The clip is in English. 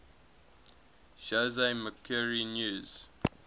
jose mercury news